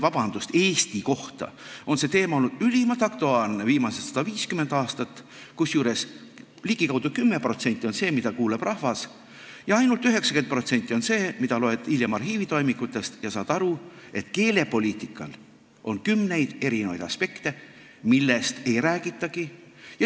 Vabandust, Eesti kohta on see teema olnud ülimalt aktuaalne viimased 150 aastat, kusjuures ligikaudu 10% on see, mida kuuleb rahvas, ja 90% on see, mida loed hiljem arhiivitoimikutest ja saad aru, et keelepoliitikal on kümneid aspekte, millest ei räägitagi.